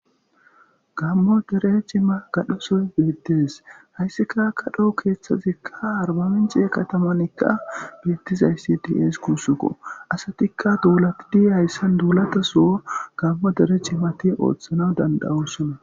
Gammo dere cima gadhoso beettes hayssika akadhoh keeththazikka arbaminci katamanikka beettizayssi dies kuussuko asatikka duulatidi hayssan duulata soo gammo dere cimati ooththana dandawossonna.